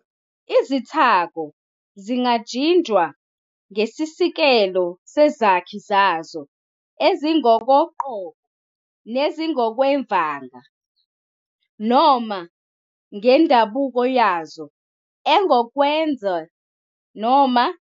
Izithako zingajinjwa ngesiseko sezakhi zazo ezingokoqobo nezingokwevanga, noma ngendabuko yazo engokwezwe noma insebenzo engokwemvelo.